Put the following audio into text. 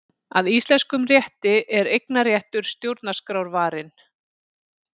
Að íslenskum rétti er eignarréttur stjórnarskrárvarinn